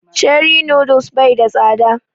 Cherie noodles bai da tsada